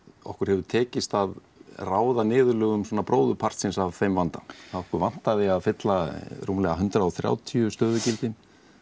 okkur hefur tekist að ráða niðurlögum bróðurpartsins af þeim vanda okkur vantaði að fylla rúmlega hundrað og þrjátíu stöðugildi